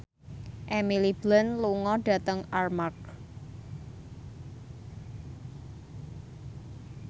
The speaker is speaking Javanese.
Emily Blunt lunga dhateng Armargh